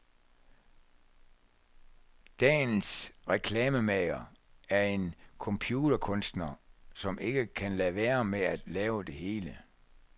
Dagens reklamemager er en computerkunstner, som ikke kan lade være med at lave det hele.